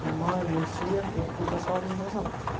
Minha mãe, minha tia, e o pessoal me.